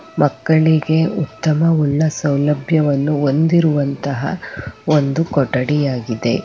ಮಕ್ಕಳಿಗೆ ಉತ್ತಮವುಳ್ಳ ಸೌಲಭ್ಯವನ್ನು ಹೊಂದಿರುವಂತಹ ಒಂದು ಕೊಠಡಿ ಆಗಿದೆ.